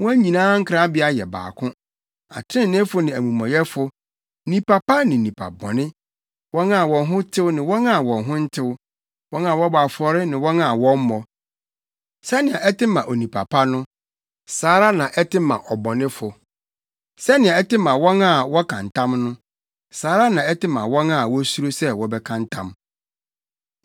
Wɔn nyinaa nkrabea yɛ baako; atreneefo ne amumɔyɛfo, nnipa pa ne nnipa bɔne, wɔn a wɔn ho tew ne wɔn a wɔn ho ntew, wɔn a wɔbɔ afɔre ne wɔn a wɔmmɔ. Sɛnea ɛte ma onipa pa no, saa ara na ɛte ma ɔbɔnefo; sɛnea ɛte ma wɔn a wɔka ntam no, saa ara na ɛte ma wɔn a wosuro sɛ wɔbɛka ntam.